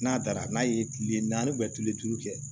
N'a taara n'a ye kile naani kile duuru kɛ